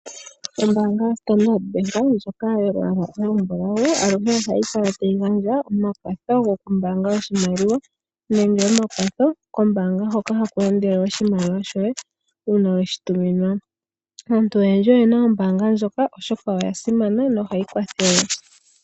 Ombaanga yaStandard bank ndjoka yolwaala olumbulau aluhe ohayi kala tayi gandja omakwatho gokumbaanga oshimaliwa nenge omakwatho kombaanga hoka haku endele oshimaliwa shoye uuna weshituminwa. Aantu oyendji oye na ombaanga ndjoka oshoka oya simana nohayi kwathele.